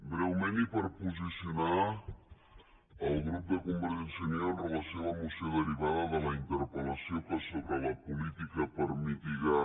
breument i per posicionar el grup de convergència i unió amb relació a la moció derivada de la interpel·lació que sobre la política per mitigar